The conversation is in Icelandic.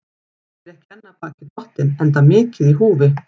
Helgi er ekki enn af baki dottinn, enda mikið í húfi.